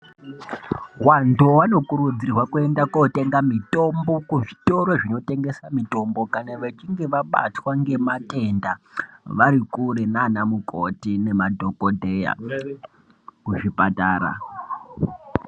Vantu vano kurudzirwa kuenda ko tenga mitombo ku zvitoro zvino tengesa mitombo kana vechinge vabatwa nge matenda vari kure nana mukoti ne madhokodheya ku zvipatara.